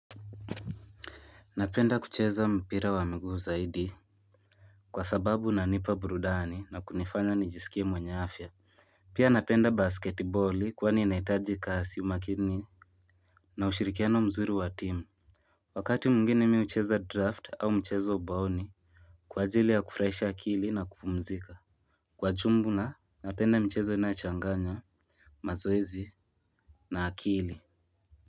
Napenda kucheza mpira wa miguu zaidi Kwa sababu unanipa burudani na kunifanya nijisikie mwenye afya Pia napenda basketiboli kwani inahitaji kasi umakini na ushirikiano mzuri wa timu. Wakati mwingine mimi hucheza draught au mchezo wa ubaoni kwa ajili ya kufurahisha akili na kupumzika napenda michezo inayochanganya mazoezi na akili.